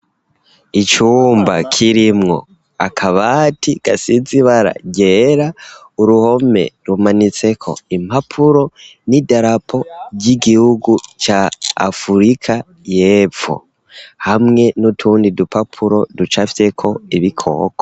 Icumba kirimwo akabati, gasize ibara ryera, uruhome, rumanitseko impapuro, n'idarapo ry'igihugu ca afurika y'epfo, hamwe n'utundi dupapuro, ducafyeko ibikoko.